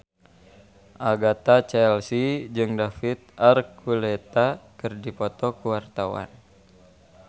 Agatha Chelsea jeung David Archuletta keur dipoto ku wartawan